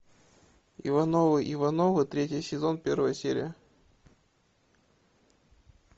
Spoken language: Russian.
ивановы ивановы третий сезон первая серия